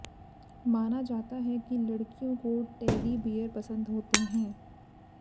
माना जाता है कि लड़कियों को टेडी बियर पसंद होते हैं